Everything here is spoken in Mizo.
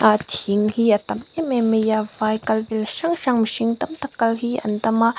a thing hi a tam em em mai a vai kal vel hrang hrang mihring tam tak kal hi an tam a.